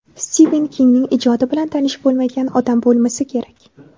Stiven Kingning ijodi bilan tanish bo‘lmagan odam bo‘lmasa kerak.